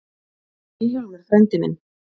Þú ert Vilhjálmur frændi minn.